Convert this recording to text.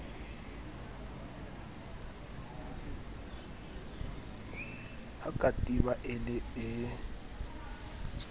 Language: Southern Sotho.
ha katiba e le e